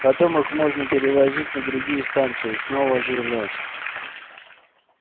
потом их можно перевозить на другие станции и снова оживлять